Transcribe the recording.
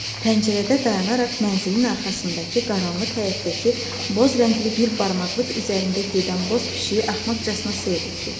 Pəncərədə dayanaraq mənzilin arxasındakı qaranlıq həyətdəki boz rəngli bir barmaqlıq üzərində gedən boz pişiyi axmaqcasına seyr etdi.